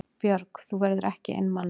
Björg: Þú verður ekki einmana?